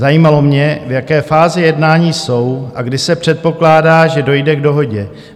Zajímalo mě, v jaké fázi jednání jsou a kdy se předpokládá, že dojde k dohodě.